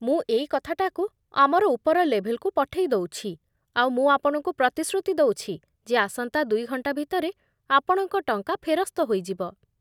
ମୁଁ ଏଇ କଥାଟାକୁ ଆମର ଉପର ଲେଭେଲ୍‌କୁ ପଠେଇ ଦଉଛି ଆଉ ମୁଁ ଆପଣଙ୍କୁ ପ୍ରତିଶ୍ରୁତି ଦେଉଛି ଯେ ଆସନ୍ତା ଦୁଇ ଘଣ୍ଟା ଭିତରେ ଆପଣଙ୍କ ଟଙ୍କା ଫେରସ୍ତ ହେଇଯିବ ।